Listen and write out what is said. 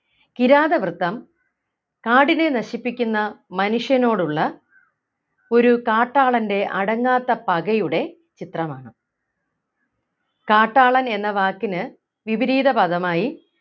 കിരാതവൃത്തം കാടിനെ നശിപ്പിക്കുന്ന മനുഷ്യനോടുള്ള ഒരു കാട്ടാളൻ്റെ അടങ്ങാത്ത പകയുടെ ചിത്രമാണ് കാട്ടാളൻ എന്ന വാക്കിന് വിപരീത പദമായി